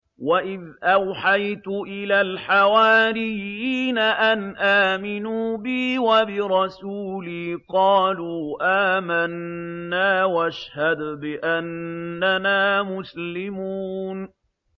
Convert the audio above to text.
وَإِذْ أَوْحَيْتُ إِلَى الْحَوَارِيِّينَ أَنْ آمِنُوا بِي وَبِرَسُولِي قَالُوا آمَنَّا وَاشْهَدْ بِأَنَّنَا مُسْلِمُونَ